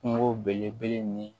Kungo belebele ni